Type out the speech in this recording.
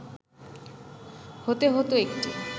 হতে হত একটি